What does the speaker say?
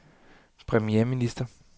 premierminister